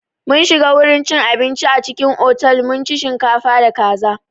Mun shiga wurin cin abinci a cikin otal mun ci shinkafa da kaza.